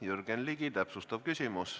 Jürgen Ligi, täpsustav küsimus.